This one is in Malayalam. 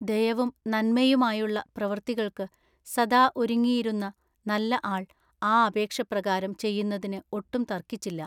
ദയവും നന്മയുമായുള്ള പ്രവർത്തികൾക്കു സദാ ഒരുങ്ങിയിരുന്ന നല്ല ആൾ ആ അപേക്ഷ പ്രകാരം ചെയ്യുന്നതിനു ഒട്ടും തർക്കിച്ചില്ല.